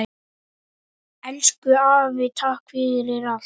Elsku afi takk fyrir allt.